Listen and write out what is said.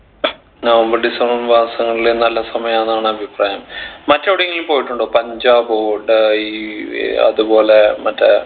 November December മാസങ്ങളിലെ നല്ല സമയാന്നാണ് അഭിപ്രായം മറ്റെവിടെങ്കിലും പോയിട്ടുണ്ടോ പഞ്ചാബൊ ഡ ഈ ഏർ അത്പോലെ